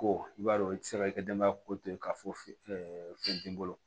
Ko i b'a dɔn i ti se ka i ka denbaya ko to k'a fɔ fɛn t'i bolo